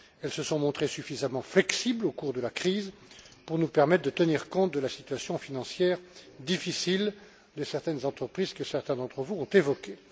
Elles se sont montrées suffisamment flexibles au cours de la crise pour nous permettre de tenir compte de la situation financière difficile de certaines entreprises que certains d'entre vous ont évoquée.